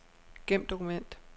Gem dokument.